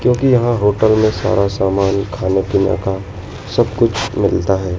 क्योंकि यहां होटल में सारा सामान खाने पीने का सब कुछ मिलता है।